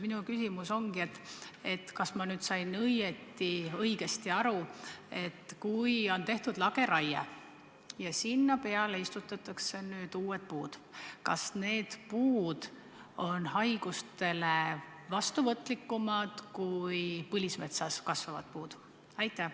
Minu küsimus on järgmine: kas ma sain õigesti aru, et kui on tehtud lageraie ja sinna alale istutatakse asemele uued puud, siis need puud on haigustele vastuvõtlikumad kui põlismetsas kasvavad puud?